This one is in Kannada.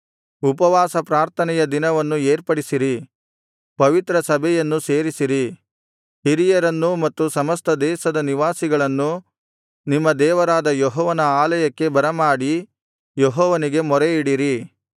ಉಪವಾಸ ಪ್ರಾರ್ಥನೆಯ ದಿನವನ್ನು ಏರ್ಪಡಿಸಿರಿ ಪವಿತ್ರ ಸಭೆಯನ್ನು ಸೇರಿಸಿರಿ ಹಿರಿಯರನ್ನೂ ಮತ್ತು ಸಮಸ್ತ ದೇಶದ ನಿವಾಸಿಗಳನ್ನೂ ನಿಮ್ಮ ದೇವರಾದ ಯೆಹೋವನ ಆಲಯಕ್ಕೆ ಬರಮಾಡಿ ಯೆಹೋವನಿಗೆ ಮೊರೆಯಿಡಿರಿ